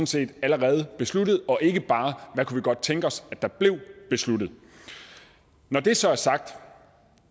set allerede er besluttet og ikke bare hvad vi godt kunne tænke os at der blev besluttet når det så er sagt